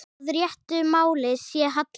Að réttu máli sé hallað.